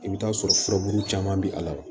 I bɛ t'a sɔrɔ furabulu caman bɛ a la wa